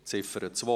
Ziffer 2: